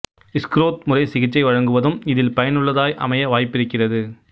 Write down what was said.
Schroth முறை சிகிச்சை வழங்குவதும் இதில் பயனுள்ளதாய் அமைய வாய்ப்பிருக்கிறது